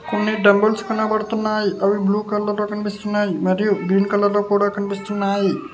కొన్ని డంబుల్స్ కనపడుతున్నాయి అవి బ్లూ కలర్లో కన్పిస్తున్నాయి మరియు గ్రీన్ కలర్లో కూడా కన్పిస్తున్నాయి.